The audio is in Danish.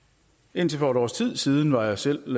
indtil for et års tid siden var jeg selv og